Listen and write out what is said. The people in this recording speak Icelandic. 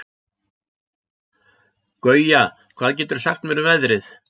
Gauja, hvað geturðu sagt mér um veðrið?